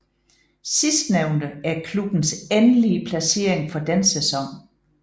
Sidstnævnte er klubbens endelige placering for den sæson